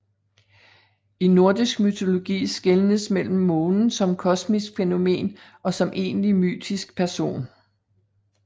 I nordisk mytologi skelnes mellem månen som kosmisk fænomen og som egentlig mytisk person